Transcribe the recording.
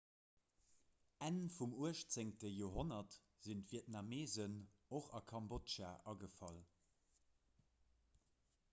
enn vum 18 joerhonnert sinn d'vietnameesen och a kambodja agefall